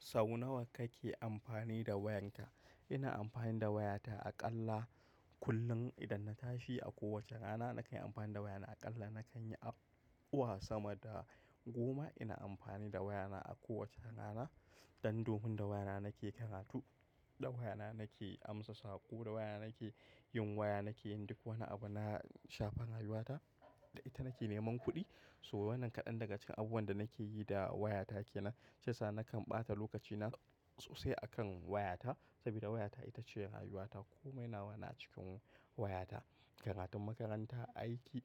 Sau nawa kake amfani da wayanka? Ina amfani da wayata aƙalla kullum idan na tashi a kowace rana nakan yi amfani da wayana aƙalla nakan yi abuwa sama da goma ina amfani da wayana a kowace rana. Dan domin da wayana nake karatu, da wayana nake amsa saƙo, da wayana nake yin waya, nake yin duk wani abu na shafi rayuwata, da ita nake neman kuɗi. So wannan kaɗan daga cikin abubuwan da nake yi da wayata kenan. Shiyasa nakan ɓata lokacina sosai akan wayata sabida wayata ita ce rayuwata. Komai nawa na cikin wayata, karatun makaranta, aiki,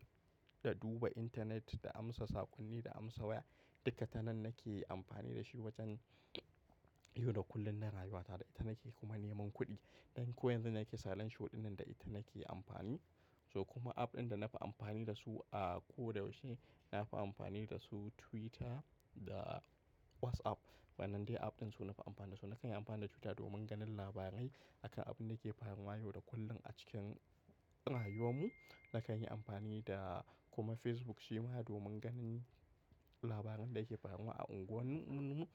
da duba intanet, da amsa sakonni, da amsa waya. Duka ta nan nake amfani da shi wajen yau da kullum na rayuwata da ita nake kuma neman kuɗi. Ɗan ko yanzu nake salon shuɗin nan da ita nake amfani. So kuma app ɗin da nafi amfani da su a ko da yaushe nafi amfani da su Twitter da WhatsApp. Wannan dai app ɗin su nafi amfani da su. Nakan yi amfani da Twitter domin ganin labarai akan abin da ke faruwa yau da kullum a cikin rayuwanmu. Nakan yi amfani da kuma Facebook shi ma domin ganin labarin da yake faruwa a unguwannunmu,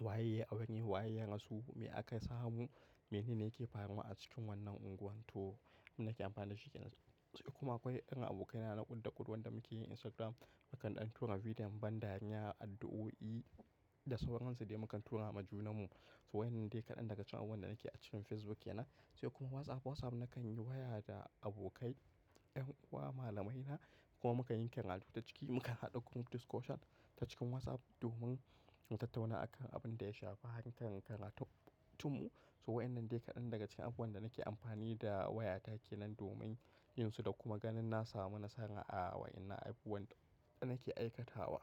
waye ya yi abin ne, waye ya rasu, me aka samu, mene ne yake faruwa a cikin wannan unguwar to. Abin da nake amfani da shi kenan. Sai kuma akwai ƴan abokaina na kudda kud wanda muke yin Instagram. Makan ɗan tura bidiyon ban dariya, addu'o'i da sauransu dai mukan tura ma junanmu. So wannan dai kaɗan daga cikin abubuwan da nake a cikin Facebook kenan. Sai kuma WhatsApp. WhatsApp nakan yi waya da abokai, ƴan uwa, malamaina kuma mukan yi karatu ta ciki. Mukan haɗa ƙungiyar discussion ta cikin WhatsApp domin mu tattauna akan abin da ya shafa akan karatunmu. So wannan dai kaɗan daga cikin abubuwan da nake amfani da wayata kenan domin yinsu da kuma ganin na samu nasara a wa'innan abubuwan da nake aikatawa.